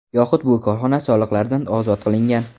Yoxud bu korxona soliqlardan ozod qilingan.